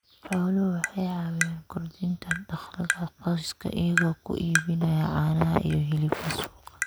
Xooluhu waxay caawiyaan kordhinta dakhliga qoyska iyagoo ku iibinaya caanaha iyo hilibka suuqa.